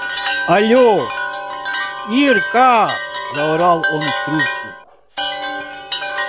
алло ирка заорал он в трубку